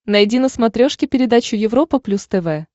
найди на смотрешке передачу европа плюс тв